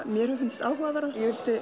mér hefur fundist áhugavert ég vildi